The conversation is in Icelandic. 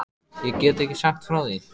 Ég get ekki sagt frá því.